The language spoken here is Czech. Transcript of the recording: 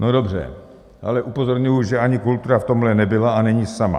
No dobře, ale upozorňuji, že ani kultura v tomhle nebyla a není sama.